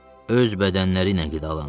Öz bədənləriylə qidalanırlar.